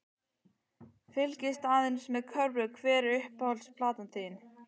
Fylgist aðeins með körfu Hver er uppáhalds platan þín?